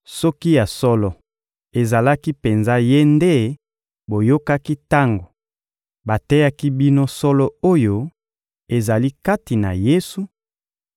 soki ya solo ezalaki penza Ye nde boyokaki tango bateyaki bino solo oyo ezali kati na Yesu